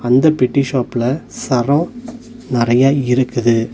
அந்த பெட்டி ஷாப்ல சரோ நெறைய இருக்குது.